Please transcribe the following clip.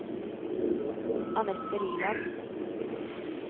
Annette Liland